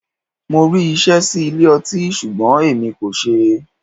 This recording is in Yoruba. Mo rí iṣẹ́ sí ilé ọtí ṣùgbọ́n èmi kò ṣeé.